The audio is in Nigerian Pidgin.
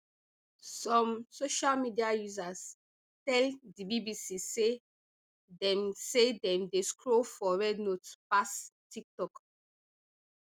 some social media users tell di bbc say dem say dem dey scroll for rednote pass tiktok